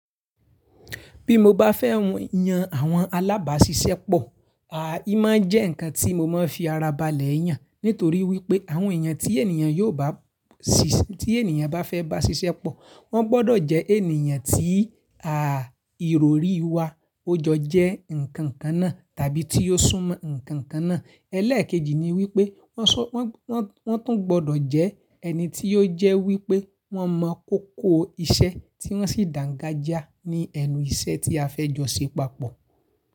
Bí mo bá fẹ́ yan àwọn alábàáṣiṣẹ́ pọ̀, í máa n jẹ́ ǹkan tí mo máa fi ara balẹ̀ yàn nítorí wípé àwọn èèyàn tí ènìyàn yóò bá siṣẹ́, tí ènìyàn bá fẹ́ bá ṣiṣẹ́ pọ̀, wọ́n gbọ́dọ̀ jẹ́ ènìyàn tí à ìrorí wa ó jọ jẹ́ ǹkan kan náà tàbí tí ó sún mọ́ ǹkan kan náà. Ẹlẹ́ẹ̀kejì ni wípé wọ́n sọ wọ́n, wọ́n, wọ́n tún gbọ́dọ̀ jẹ́ ẹni tí ó jẹ́ wípé wọ́n mọ kókó iṣẹ́ tí wọ́n sì dàǹgajiá ní ẹnu iṣẹ́ tí a fẹ́ jọ ṣe papọ̀